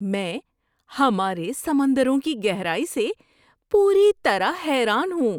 میں ہمارے سمندروں کی گہرائی سے پوری طرح حیران ہوں!